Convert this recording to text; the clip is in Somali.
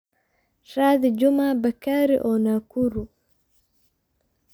raadi juma bakari oo nakuru